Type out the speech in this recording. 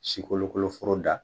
Sikolokolo foro da